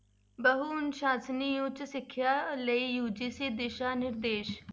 ਬਹੁ ਅਨੁਸਾਸਨੀ ਉੱਚ ਸਿੱਖਿਆ ਲਈ UGC ਦਿਸ਼ਾ ਨਿਰਦੇਸ਼।